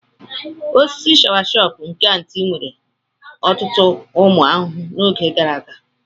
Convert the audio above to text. Osisi shawasopu nke Aunty nwere ọtụtụ ụmụ ahụhụ n'oge ahụ gara aga.